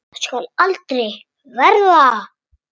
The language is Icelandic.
Það skal aldrei verða!